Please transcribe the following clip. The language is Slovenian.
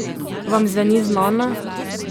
Vam zveni znano?